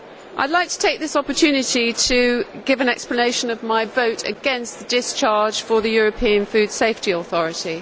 I would like to take this opportunity to give an explanation of my vote against the discharge for the European Food Safety Authority.